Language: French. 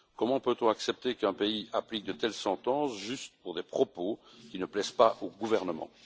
Comment peut on accepter qu'un pays applique de telles sentences juste pour des propos qui ne plaisent pas au gouvernement?